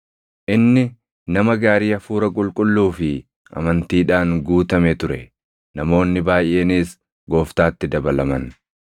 Inni nama gaarii Hafuura Qulqulluu fi amantiidhaan guutame ture; namoonni baayʼeenis Gooftaatti dabalaman.